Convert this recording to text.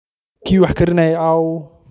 Kii wax akrinaye aawun?